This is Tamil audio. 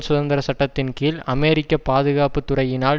சுதந்திர சட்டத்தின் கீழ் அமெரிக்க பாதுகாப்பு துறையினால்